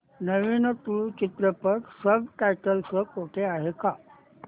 नवीन तुळू चित्रपट subtitles सह कुठे आहे का